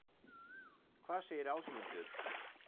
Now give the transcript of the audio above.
Hvað segir Ásmundur?